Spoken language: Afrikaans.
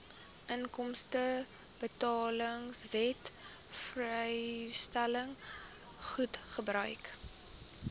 inkomstebelastingwet vrystelling goedgekeur